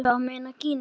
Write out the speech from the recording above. Ertu að meina Gínu?